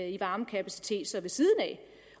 i varmekapacitet ved siden af